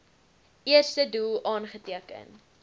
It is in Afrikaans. eerste doel aangeteken